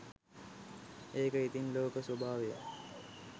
ඒක ඉතිං ලෝක ස්වභාවය